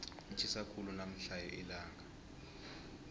litjhisa khulu namhlanje ilanga